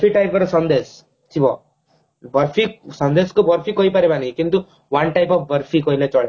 barfi type ର ସନ୍ଦେଶ ଥିବ ବର୍ଫି ସନ୍ଦେଶ କୁ ବର୍ଫି କହି ପାରିବନି କିନ୍ତୁ one type of ବର୍ଫି କହିଲେ ଚଳେ